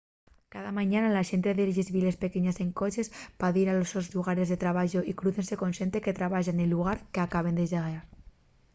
cada mañana la xente dexa les villes pequeñes en coches pa dir a los sos llugares de trabayu y crúciense con xente que trabaya nel llugar qu’acaben de dexar